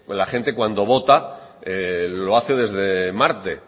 la gente cuando vota lo hace desde marte